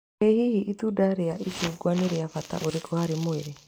I hihi itunda rĩa icungwa nĩ rĩa bata ũrĩkũ harĩ mwĩrĩ?